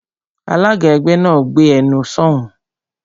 Alága ẹgbẹ́ náà, "Gbé ẹnu sọ̀ún!"